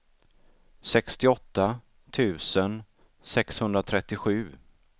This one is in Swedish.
sextioåtta tusen sexhundratrettiosju